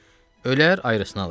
Ölər, ayrısnı alaram.